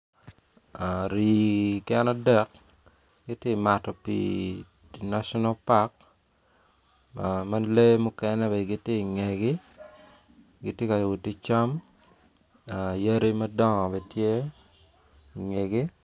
Rii gin adek gitye ka mato pii i national park ma lee mukene bene gitye i ngegi gitye ka wot ki cam yadi madongo bene tye i ngei.